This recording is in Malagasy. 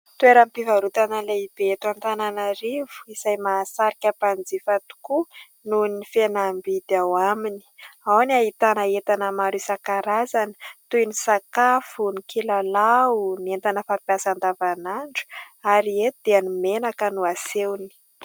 Toeram-pivarotana lehibe eto Antananarivo izay mahasarika mpanjifa tokoa noho ny fihenam-bidy ao aminy. Ao no ahitana entana maro isankarazany toy ny sakafo, ny kilalao, ny entana fampiasa andavanandro ary eto dia ny menaka no asehony.